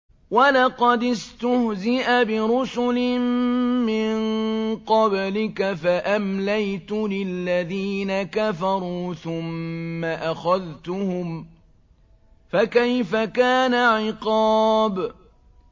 وَلَقَدِ اسْتُهْزِئَ بِرُسُلٍ مِّن قَبْلِكَ فَأَمْلَيْتُ لِلَّذِينَ كَفَرُوا ثُمَّ أَخَذْتُهُمْ ۖ فَكَيْفَ كَانَ عِقَابِ